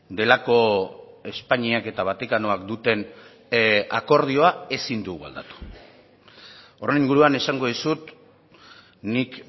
delako espainiak eta vatikanoak duten akordioa ezin dugu aldatu horren inguruan esango dizut nik